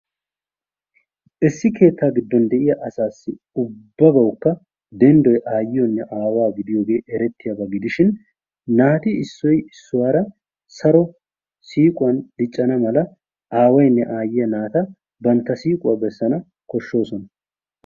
Issi keettaa giddon de'iya asaassi ubbabawukka denddoy aayiyonne aawa gidiyogee erettiyaba gidishshin naati issoy issuwara saro siiquwan diccanna mala aawayinne aayiyaa naata bantta siiqquwa bessanawu koshshoosona.